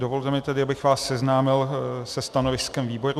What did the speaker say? Dovolte mi tedy, abych vás seznámil se stanoviskem výboru.